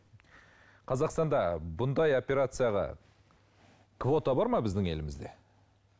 қазақстанда бұндай операцияға квота бар ма біздің елімізде